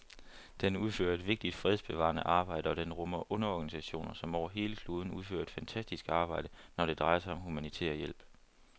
Den udfører et vigtigt fredsbevarende arbejde, og den rummer underorganisationer, som over hele kloden udfører et fantastisk arbejde, når det drejer sig om humanitær hjælp.